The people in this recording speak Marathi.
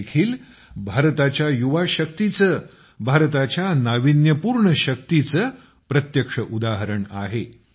हे देखील भारताच्या युवा शक्तीचे भारताच्या नाविन्यपूर्ण शक्तीचे प्रत्यक्ष उदाहरण आहे